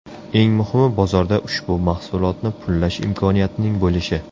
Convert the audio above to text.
Eng muhimi bozorda ushbu mahsulotni pullash imkoniyatining bo‘lishi.